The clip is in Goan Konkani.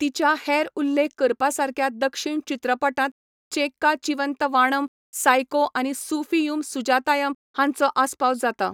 तिच्या हेर उल्लेख करपासारक्या दक्षिण चित्रपटांत चेक्का चिवंत वाणम, सायको आनी सुफियुम सुजातायम हांचो आस्पाव जाता.